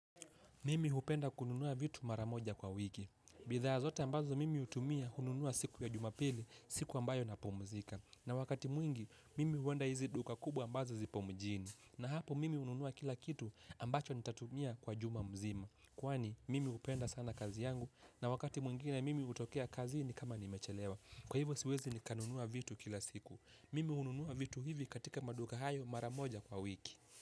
Mimi upenda kununua vitu mara moja kwa wiki. Bidhaa zote ambazo mimi hutumia hununua siku ya jumapili, siku ambayo nanapumzika. Na wakati mwingine, mimi huenda hizi duka kubwa ambazo zipo mjini. Na hapo mimi ununua kila kitu ambacho nitatumia kwa juma mzima. Kwani, mimi upenda sana kazi yangu na wakati mwingine mimi utokea kazi ni kama nimechelewa. Kwa hivyo siwezi nikanunua vitu kila siku. Mimi ununua vitu hivi katika maduka hayo mara moja kwa wiki.